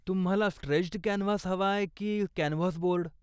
तुम्हाला stretched canvas हवाय की कॅनव्हास बोर्ड?